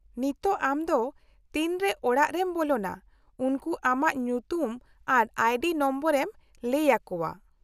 -ᱱᱤᱛᱚᱜ ᱟᱢ ᱫᱚ ᱛᱤᱱᱨᱮ ᱚᱲᱟᱜ ᱨᱮᱢ ᱵᱚᱞᱚᱱᱟ, ᱩᱱᱠᱩ ᱟᱢᱟᱜ ᱧᱩᱛᱩᱢ ᱟᱨ ᱟᱭᱰᱤ ᱱᱚᱢᱵᱚᱨᱮᱢ ᱞᱟᱹᱭ ᱟᱠᱚᱣᱟ ᱾